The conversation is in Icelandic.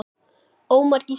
Ómar Gísli.